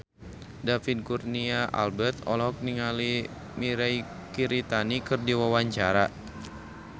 David Kurnia Albert olohok ningali Mirei Kiritani keur diwawancara